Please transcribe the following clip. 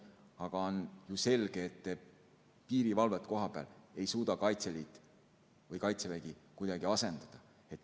Aga on ju selge, et kohapealset piirivalvet ei suuda Kaitseliit ega Kaitsevägi kuidagi asendada.